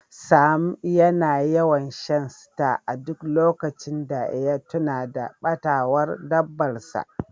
Sam yana yawan Shan star a duk lokacin da ya tuna da batawar dabbar sa.